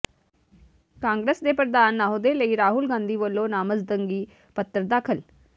ਕਾਂਗਰਸ ਦੇ ਪ੍ਰਧਾਨ ਅਹੁਦੇ ਲਈ ਰਾਹੁਲ ਗਾਂਧੀ ਵੱਲੋਂ ਨਾਮਜ਼ਦਗੀ ਪੱਤਰ ਦਾਖਲ